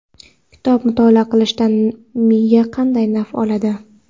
Kitob mutolaa qilishdan miya qanday naf oladi?.